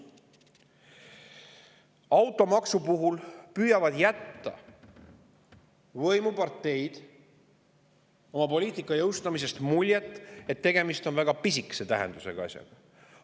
Automaksu puhul püüavad jätta võimuparteid oma poliitika jõustamisel muljet, et tegemist on väga pisikese tähendusega asjaga.